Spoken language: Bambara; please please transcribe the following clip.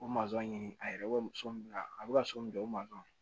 O ɲini a yɛrɛ bɛ so min bila a bɛ ka so min jɔ o